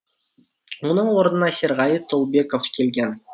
оның орнына серғали толыбеков келген